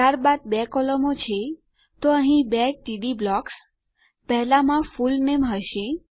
ત્યારબાદ બે કોલમો છે તો અહીં બે ટીડી બ્લોકસ અને પહેલામાં ફૂલનેમ પૂરું નામ હશે